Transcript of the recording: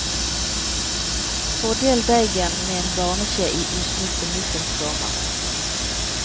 Fordel deigen med en barneskje i usmurte muffinsformer.